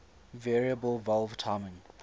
variable valve timing